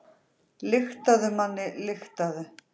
Lyktaðu, manni, lyktaðu.